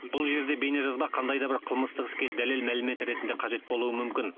бұл жерде бейнежазба қандай да бір қылмыстық іске дәлел мәлімет ретінде қажет болуы мүмкін